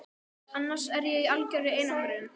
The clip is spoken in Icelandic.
annars er ég í algjörri einangrun.